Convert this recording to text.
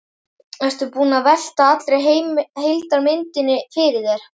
Ertu búinn að velta allri heildarmyndinni fyrir þér?